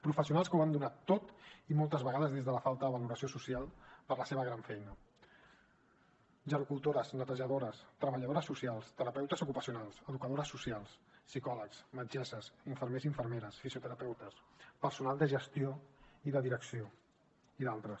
professionals que ho han donat tot i moltes vegades des de la falta de valoració social per la seva gran feina gerocultores netejadores treballadores socials terapeutes ocupacionals educadores socials psicòlegs metgesses infermers i infermeres fisioterapeutes personal de gestió i de direcció i d’altres